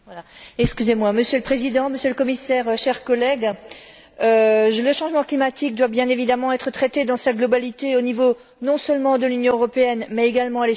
Monsieur le Président, Monsieur le Commissaire, chers collègues, le changement climatique doit, bien évidemment, être traité dans sa globalité, non seulement au niveau de l'Union européenne, mais également à l'échelle mondiale.